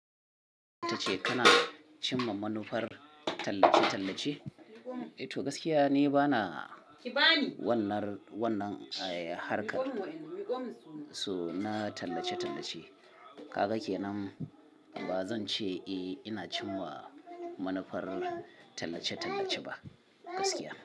Tace kana cimma manufar tallace-tallace? Toh gaskiya ni bana wannan, wannan, harkar su na tallace-tallace. Kaga kenan, ba zan ce eh ina cimma manufar tallace-tallace ba gaskiya.